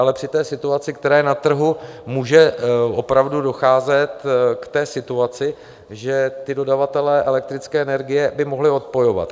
Ale při té situaci, která je na trhu, může opravdu docházet k té situaci, že ti dodavatelé elektrické energie by mohli odpojovat.